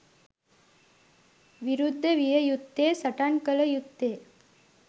විරුද්ධ විය යුත්තේ, සටන් කළ යුත්තේ